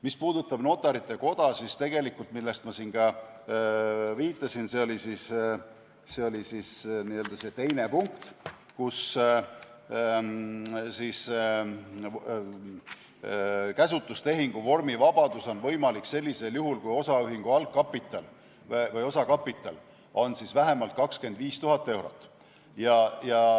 Mis puudutab Notarite Koda, siis ma ka viitasin sellele – see oli see teine punkt –, et käsutustehingu vormivabadus on võimalik sellisel juhul, kui osaühingu algkapital või osakapital on vähemalt 25 000 eurot.